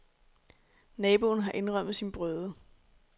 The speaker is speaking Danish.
Naboen har indrømmet sin brøde.